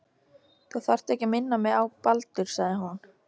Þú þarft ekki að minna mig á Baldur- sagði hún.